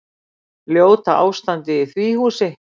Ljóta ástandið í því húsi.